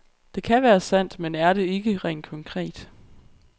Det kan være sandt, men er det ikke, rent konkret.